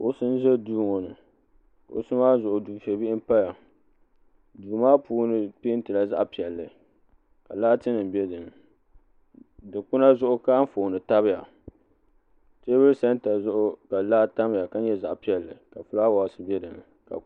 kuɣusi n ʒɛ duu ŋɔ ni kuɣusi maa zuɣu dufɛ bihi n paya duu maa puuni peentila zaɣ piɛlli ka laati nim bɛ dinni dikpuna zuɣu ka Anfooni tabiya teebuli sɛnta zuɣu ka laa tamya ka nyɛ zaɣ piɛlli ka fulaawaasi bɛ dinni